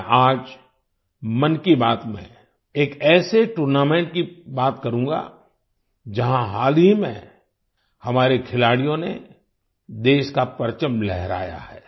मैं आज मन की बात में एक ऐसे टूर्नामेंट की बात करूंगा जहाँ हाल ही में हमारे खिलाड़ियों ने देश का परचम लहराया है